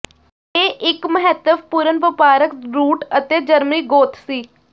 ਇਹ ਇੱਕ ਮਹੱਤਵਪੂਰਨ ਵਪਾਰਕ ਰੂਟ ਅਤੇ ਜਰਮਨੀ ਗੋਤ ਸੀ